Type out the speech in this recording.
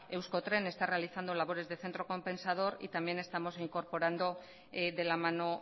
euskotren está realizando labores de centro compensador y también estamos incorporando de la mano